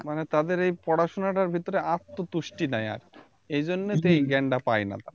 মানে তাদের এই পড়াশুনাটার ভিতরে আরতো তুষ্টি নাই আর এজন্যেতো এই জ্ঞান তা পায়না তা